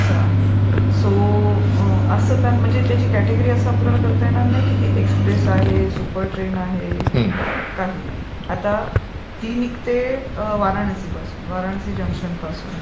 असं आहे. सो त्याची क्याटेगरी असं आपल्याला करता येणार नाही की, ती एक्सप्रेस आहे, सुपर ट्रेन आहे, काही नाही, आता ती निघते वाराणसीपासून, वाराणसी जंक्शनपासून.